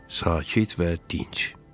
Sakit və dinc.